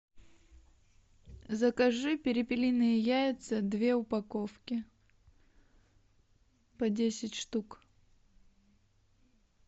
закажи перепелиные яйца две упаковки по десять штук